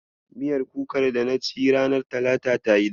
Miyar kukar dana ci ranar talata tayi daɗi.